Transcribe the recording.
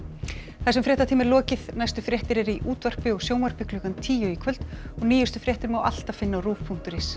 þessum fréttatíma er lokið næstu fréttir eru í útvarpi og sjónvarpi klukkan tíu í kvöld og nýjustu fréttir má alltaf finna á rúv punktur is